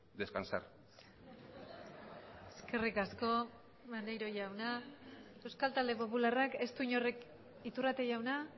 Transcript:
descansar eskerrik asko maneiro jauna euskal talde popularrak ez du inork iturrate jauna